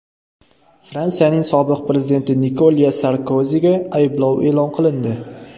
Fransiyaning sobiq prezidenti Nikolya Sarkoziga ayblov e’lon qilindi.